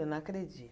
Eu não